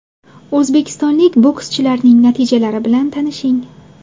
O‘zbekistonlik bokschilarning natijalari bilan tanishing: !